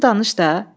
Özün danış da.